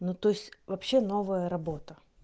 ну то есть вообще новая работа